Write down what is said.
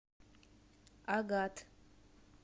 агат